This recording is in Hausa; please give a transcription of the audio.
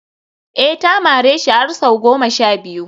eh ta mareshi har sau goma sha biyu